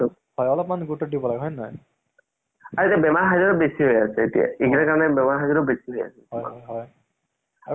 যোনতো যে সেইটো এ কিবা চʼলে movies তোৰ যে দাইলেক টো । সেইটো বহুত famous হৈ গৈছিল না ?